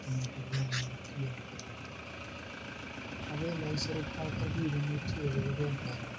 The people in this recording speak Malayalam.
ഇരൂറ്റിഇരുബത് എന്ന് പറഞ്ഞു